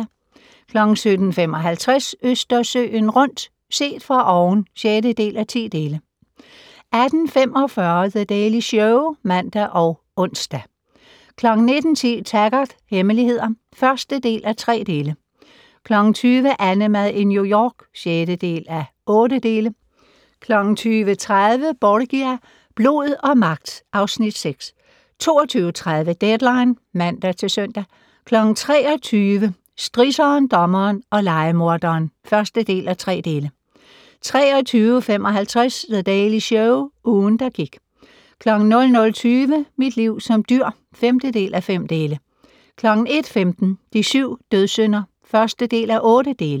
17:55: Østersøen rundt - set fra oven (6:10) 18:45: The Daily Show (man og ons) 19:10: Taggart: Hemmeligheder (1:3) 20:00: AnneMad i New York (6:8) 20:30: Borgia - blod og magt (Afs. 6) 22:30: Deadline (man-søn) 23:00: Strisseren, dommeren og lejemorderen (1:3) 23:55: The Daily Show - ugen, der gik 00:20: Mit liv som dyr (5:5) 01:15: De syv dødssynder (1:8)